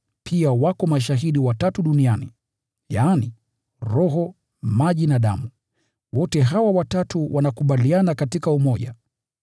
Pia wako mashahidi watatu duniani]: Roho, Maji na Damu; hawa watatu wanakubaliana katika umoja.